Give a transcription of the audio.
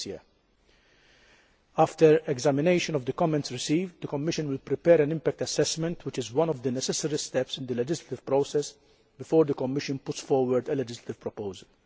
2012. After examination of the comments received, the Commission will prepare an impact assessment which is one of the necessary steps in the legislative process before the Commission puts forward a legislative proposal.